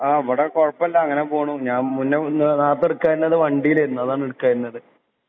ആ ഇവടെ കൊഴപ്പല്ല അങ്ങനെ പോണു ഞാൻ മുന്നെ ഒന്ന് നാർത്തേ എടുക്കായിന്നത് വണ്ടീലേന്നു അതാ എടുക്കായീന്നത്